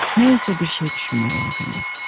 Nə isə bir şey düşünmək lazımdır.